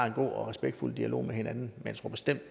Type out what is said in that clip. en god og respektfuld dialog med hinanden